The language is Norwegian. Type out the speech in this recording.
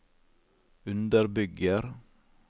underbygger